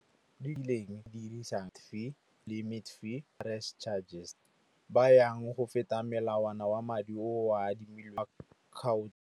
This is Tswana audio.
, limit fee, price charges. Ba yang go feta melawana wa madi oa adimile wa .